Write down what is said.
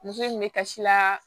Muso in bɛ kasi laa